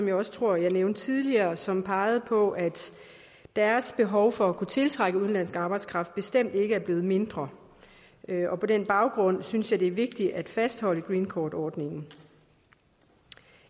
jeg også tror jeg nævnte tidligere som pegede på at deres behov for at kunne tiltrække udenlandsk arbejdskraft bestemt ikke er blevet mindre på den baggrund synes jeg det er vigtigt at fastholde greencardordningen